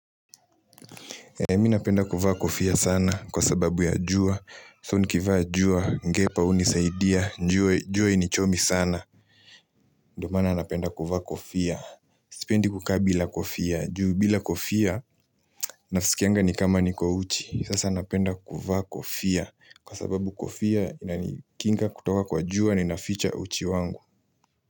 Mimi napenda kuvaa kofia sana kwa sababu ya jua, so nikivaa jua, ngepa hunisaidia, juo hainichomi sana ndiyo maana napenda kuvaa kofia, sipendi kukaa bila kofia, juu bila kofia, naisikianga nikama nikama niko uchi Sasa napenda kuvaa kofia, kwa sababu kofia inaikinga kutoka kwa jua ni naficha uchi wangu.